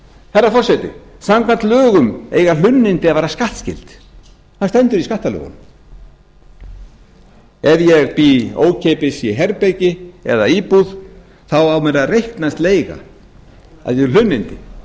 herra forseti samkvæmt lögum eiga hlunnindi að vera skattskyld það stendur í skattalögum ef ég bý ókeypis í herbergi eða íbúð á mér að reiknast leiga sem hlunnindi ef ég